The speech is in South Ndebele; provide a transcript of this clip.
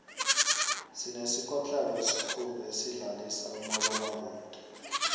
sinesikotlelo esikhulu esidlalisa umabonakude